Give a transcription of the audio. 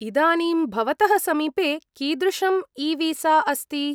इदानीं भवतः समीपे कीदृशम् ईवीसा अस्ति?